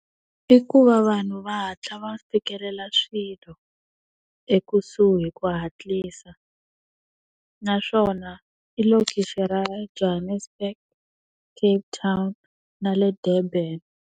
I ku va vanhu va hatla va fikelela swilo, ekusuhi hi ku hatlisa. Naswona i lokixi ra Johannesburg, Cape Town na le Durban.